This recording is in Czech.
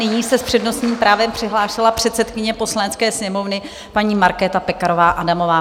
Nyní se s přednostním právem přihlásila předsedkyně Poslanecké sněmovny, paní Markéta Pekarová Adamová.